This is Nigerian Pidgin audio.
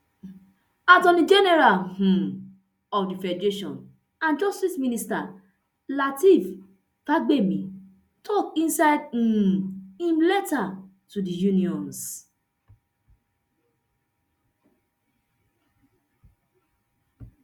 attorney general um of di federation and justice minister lateef fagbemi tok inside um im letter to di unions